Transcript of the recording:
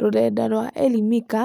Rũrenda rwa Elimika